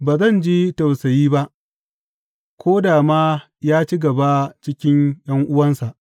Ba zan ji tausayi ba, ko da ma ya ci gaba cikin ’yan’uwansa.